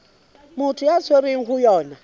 motho a tshwerweng ho yona